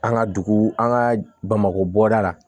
An ka dugu an ka bamakɔ bɔgɔda la